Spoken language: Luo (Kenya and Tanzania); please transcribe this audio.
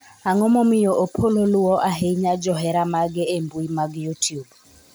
ang'o momiyo Opollo luwo ahinya johera mage e mbui mag youtube